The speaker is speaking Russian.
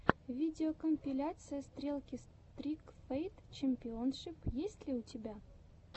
видеокомпиляция стрелки стрик файт чемпионшип есть ли у тебя